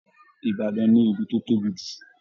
Ibadan ni ìlú tó tóbi jù.